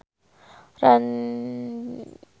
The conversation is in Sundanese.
Ranty Maria olohok ningali Madonna keur diwawancara